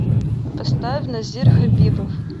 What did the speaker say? поставь назир хабибов